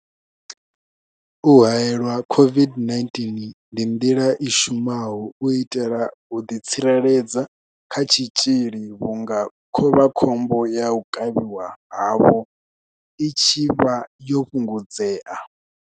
U haelwa COVID-19 ndi nḓila i shumaho u itela u ḓi tsireledza kha tshitzhili vhunga khovhakhombo ya u kavhiwa havho i tshi vha yo fhungudzea.